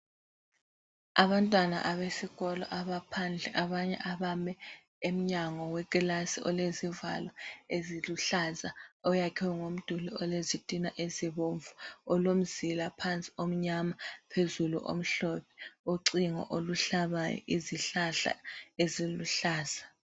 Abantwana abesikolo abaphandle abanye abame emnyango wekilasi olezivalo eziluhlaza oyakhwe ngomduli olezitina ezibomvu, olomzila phansi omnyama phezulu omhlophe, ucingo oluhlabayo, izihlahla eziluhlaza.